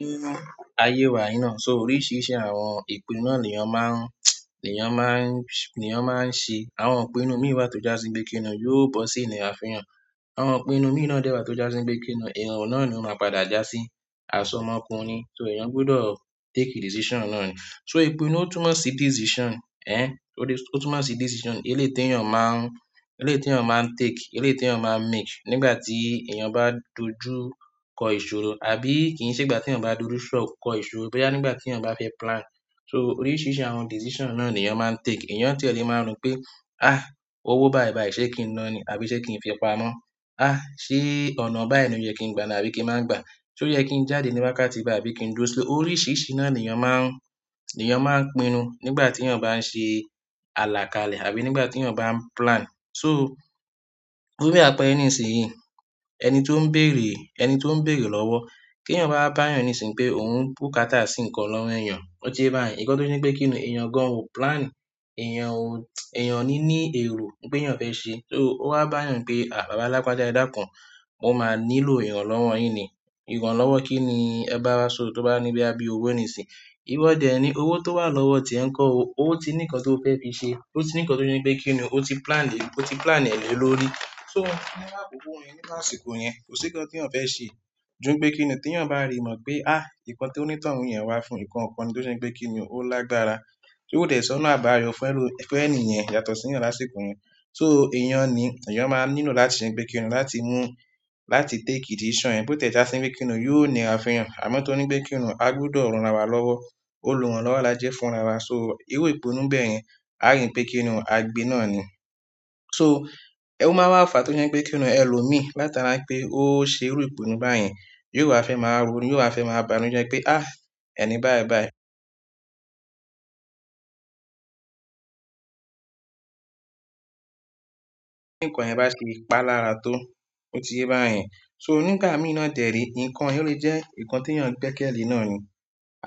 Nínú aye wa yìí náà, so oríṣiríṣi àwọn ìpinnu ni èèyàn máa ń, èèyàn máa ń ṣe. Àwọn ìpinnu mìíràn tó jásí ń pé kìn-ín nú yóò bọ́ sí ìnira fu eeyan. Àwọn ìpinnu mìíràn dẹ́rẹ̀ẹ́ tó jásí ń gbé kìn-ín nú, ìrorun náà ni ó máa padà jásí, aṣọ ọmọkùnrin. So èèyàn gbọdọ̀ take decision náà ni. So ìpinnu túmọ̀ sí decision, ẹ́, o túnmọ̀ sí decision eléèti èèyàn máa ń, eléèti èèyàn máa ń take, eléèti èèyàn máa ń make nígbà tí èèyàn bá dojú kọ ìṣòro. Àbí kì í ṣe ìgbà tí èèyàn bá dúdú ṣọ́ọ̀kọ kọ ìṣòro, bẹ́ẹ́ já nígbà tí èèyàn bá fẹ́ plan. So oríṣiríṣi àwọn decision náà ni èèyàn máa ń take. Ẹ̀yàn tí èlé máa ń rò pé, "àh! Owó bàìbàì ṣé kí n na ni? Àbí ṣé kí n fi pa mọ́? Àh! Ṣé ọ̀nà báyìí ni ó yẹ kí n gba ni àbí kí n máa gba á? So ò yẹ kí n jáde níwatí bài á bíi kí n dúró sílẹ̀?" Oríṣiríṣi náà ni èèyàn máa ń, èèyàn máa ń pinnu nígbà tí èèyàn bá ń ṣe àlàkalẹ̀ àbí nígbà tí èèyàn bá ń plan. So fún bi ápẹ́ere nísìnyí. Ẹni tó ń bèrè, ẹni tó ń bèrè lọ́wọ́. Kí èèyàn bá bá èèyàn níṣìnyí pé òun ń bùkátà sí nǹkan lọ́wọ́ èèyàn, ó ti yé bá yẹn. Ìkán tó ní pé kí ni èèyàn gan ò plan, èèyàn ò, èèyàn ní ní èrò pé èèyàn fẹ́ ṣe. So ó wá bá èèyàn pé, "àh! Baba lagbaja edakun mo ma nílò ìrànlọ́wọ́ yin ni ìràn lọ́wọ́ kí ni ẹ bá ra sọ́ọ̀ọ́ tó bá ní bíi boya bi owó nísìnyí." Iwọ́ dẹ̀ ẹ́ ni owó tó wà lọ́wọ́ tíe ń kọ́ ọ, ó ti ní nǹkan tó fẹ́ fi ṣe. Ó ti ní nǹkan tó je pé kí ni ó ti plan le, ó ti plan ẹ̀ lórí. So nínú àkókò yìí, níru asìkó yẹn, kò sí nǹkan tí eeyan fẹ́ ṣe. Ko ju pe kini o, teyan ba ri mo pe nkan toni toun yen wa fún, nkan kan to se wípé kini, o lágbára tó dẹ̀ẹ́ sọ́nà abáyo fe lo mi, fe niyen yàtọ̀ si eeyan lásìkò yen. So èèyàn ni, èèyàn máa ń nílò láti ṣe pé kí ni láti mú, láti take decision yen. Bí ó tẹ̀ ẹ́ já sí bíi kí ni yóò nira àfihàn. Àmọ́ tó ní pé kí ni a gbọdọ̀ rsn ra wa lọ́wọ́, ólurànlọ́wọ́ lajẹ fún ra wa. So irú ìpinnu bẹ́ẹ̀ yẹn, a rìn pé kí ni a gbe náà ni. So ẹwu máa wá fàá tó ní pé kí ni ẹ lù mí látara pé ó ṣe irú ìpinnu báyen, yóò wá fẹ́ máa ronu yóò wa fẹ́ máa bánuje tó ní pé, "àh! Ẹni bàìbàì." Kí nǹkan yẹn bá ṣe ìpá lára tó, ó ti yéyin bá yẹn. So nígbà mìí na derw tẹ̀ẹ́ rí, nǹkan yóò lè jẹ́ nǹkan tí èèyàn gbé kẹ́ẹ̀lì náà ni.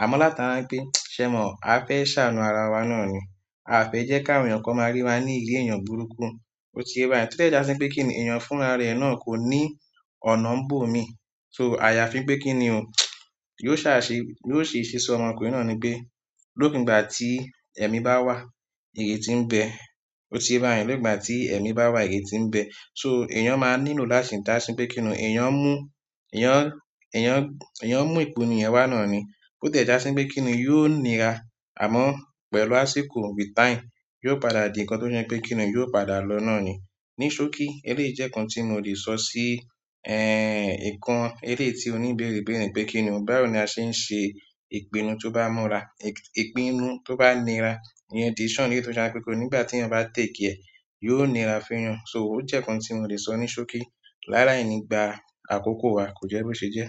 Àmọ́ látara pé, ṣẹ mọ́, a fẹ́ ṣàánú ara wa náà ni. A fe je ki àwọn eeyan kan ma ri wa ni iri eyan burúkú. Ó ti yé bá yẹn. Tẹ́lẹ̀ ẹ́ já sí bíi kí ni èèyàn fún ara rẹ̀ náà kò ní ọ̀nà ń bò mí. So àyàfin pé kí ni o. Yóò ṣà ṣe, yóò ṣe ìṣeṣọ ọmọkùnrin náà nípe Lókùn ìgbà tí ẹ̀mí bá wà, ìrètí ń bẹ. Ó ti yé bá yẹn. Nìgbà tí ẹ̀mí bá wà, ìrètí ń bẹ. So èèyàn máa ń nílò láti ṣe dá sí bíi kí ni èèyàn mú, èèyàn, èèyàn, èèyàn mú ìpinnu ìyẹn wá náà ni. Bí ó tẹ̀ ẹ́ já sí bíi kí ni yóò nira. Àmọ́ pẹ̀lú àsìkò, with time, yóò padà di nǹkan tó se pé kí ni yóò padà lọ náà ni. Níṣókí eléyi je nkan tí mo lè sọ sí, ẹ́, nǹkan eléèti oníbéèrè béèrè pé kí ni báwo ni a ṣe ń ṣe ìpinnu tó bá múra, ìpinnu tó bá nira. Ìyẹn decision eléèti ó je pe nígbà tí èèyàn bá take ẹ̀, yóò nira feyan. So ó jẹ́ nǹkan tí mo lè sọ níṣókí. Lá laì nígbà àkókò wa kò jẹ́ bó ṣe jẹ́.